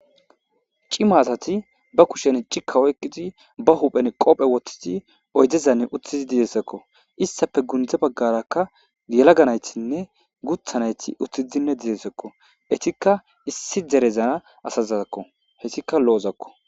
Cima asati be kusheni cikka oykidi,be huphen qoofe woththidi dizaysako. Izetappe gunde bagara qasse yelaga naytinne guutha nayti uttidi e dizaysako. Eetika issi dere asazako. Heytika lo'ozako.